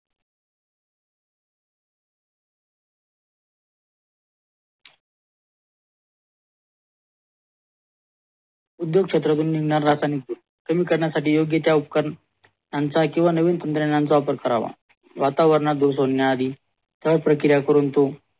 उद्योग क्षेत्रातुन रासायनिक कमी करण्या साठी योग्य ते उपकरण त्याचा किव्हा नवीन तंत्रज्ञानाचा वापर करावा वातावरणात धूर सोडण्याआधी सह प्रक्रिया करून तो